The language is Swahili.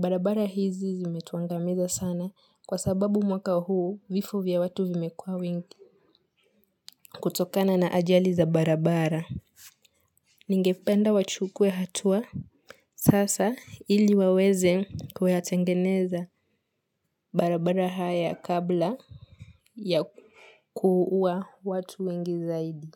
Barabara hizi zimetuangamiza sana kwa sababu mwaka huu vifo vya watu vimekuwa wingi kutokana na ajali za barabara Ningependa wachukuwe hatua sasa ili waweze kuyatengeneza barabara haya kabla ya kuuwa watu wengi zaidi.